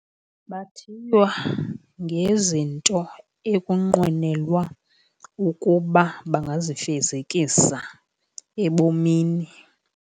Bathiywa ngezinto ekunqwenelwa ukuba bangazifezekisa ebomini.